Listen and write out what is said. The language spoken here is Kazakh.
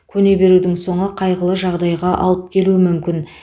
көне берудің соңы қайғылы жағдайға алып келуі мүмкін